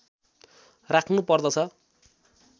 राख्नु पर्दछ